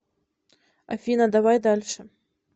афина давай дальше